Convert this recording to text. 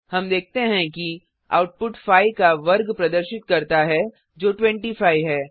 हम देखते हैं कि आउटपुट 5 का वर्ग प्रदर्शित करता है जो 25 है